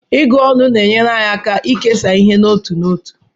Ịgụ ọnụ na-enyere anyị aka ikesa ihe n'otu n'otu.